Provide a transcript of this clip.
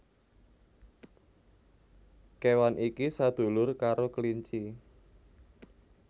Kéwan iki sadulur karo Kelinci